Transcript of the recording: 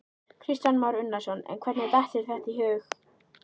Kristján Már Unnarsson: En hvernig datt þér þetta í hug?